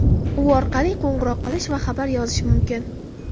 U orqali qo‘ng‘iroq qilish va xabar yozish mumkin.